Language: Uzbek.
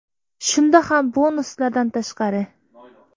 Shunda ham bonuslardan tashqari.